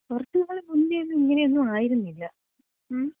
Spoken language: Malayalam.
കൊറച്ച് നാള് മുന്നേന്നും ഇങ്ങനൊന്നും ആയിരുന്നില്ല. മ്?